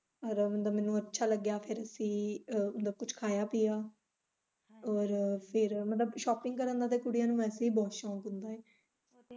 ਰਮਦ ਮੈਨੂੰ ਅੱਛਾ ਲੱਗਿਆ ਫੇਰ ਅਸੀਂ ਕੁੱਛ ਖਾਇਆ ਪੀਆ ਔਰ ਫੇਰ ਮਤਲਬ shopping ਕਰਨ ਦਾ ਤੇ ਵੈਸੇ ਹੀ ਕੁੜੀਆਂ ਨੂੰ ਬਹੁਤ ਸ਼ੌਕ ਹੁੰਦਾ ਐ।